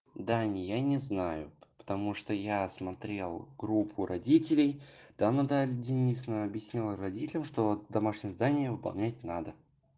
даня я не знаю потому что я смотрел группу родителей там наталья денисовна объяснила родителям что домашнее задание выполнять надо